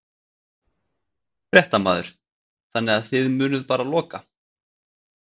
Fréttamaður: Þannig að þið munið bara loka?